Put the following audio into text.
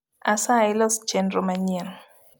asayi los chenro manyien